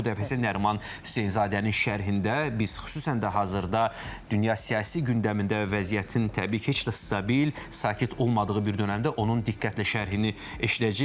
Bu dəfə isə Nəriman Hüseynzadənin şərhində biz xüsusən də hazırda dünya siyasi gündəmində və vəziyyətin təbii ki, heç də stabil, sakit olmadığı bir dönəmdə onun diqqətlə şərhini eşidəcəyik.